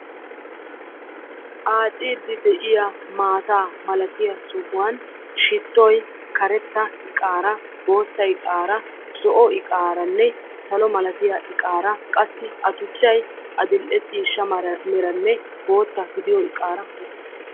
Aacciddi de'iya maatta malatti sohuwan shittoy maatta, adl'ee ciishsha, zo'o, karetta buqurara de'ees. Ayyo tuchchayikka de'ees.